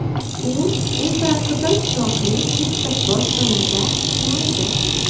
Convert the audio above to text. U infraqizil chiroqli issiq boshpanada tunaydi.